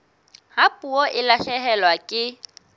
ha puo e lahlehelwa ke